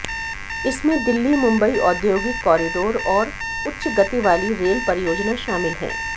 इसमें दिल्ली मुंबई औद्योगिक कॉरिडोर और उच्च गति वाली रेल परियोजना शामिल हैं